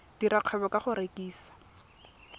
dira kgwebo ka go rekisa